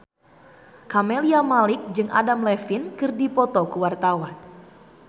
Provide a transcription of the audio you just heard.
Camelia Malik jeung Adam Levine keur dipoto ku wartawan